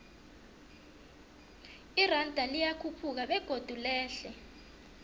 iranda liyakhuphuka begodu lehle